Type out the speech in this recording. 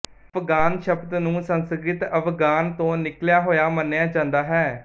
ਅਫਗਾਨ ਸ਼ਬਦ ਨੂੰ ਸੰਸਕ੍ਰਿਤ ਅਵਗਾਨ ਤੋਂ ਨਿਕਲਿਆ ਹੋਇਆ ਮੰਨਿਆ ਜਾਂਦਾ ਹੈ